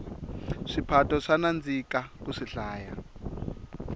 swiphato swa nandzika ku swihlaya